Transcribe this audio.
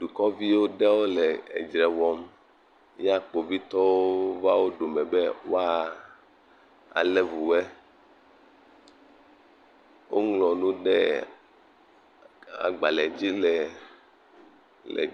Dukɔvi ɖewo le edzre wɔm. Ya kpovitɔwo va wo dome be woa alé vu woɛ. Woŋlɔ nu ɖe agbalẽdzi le, le.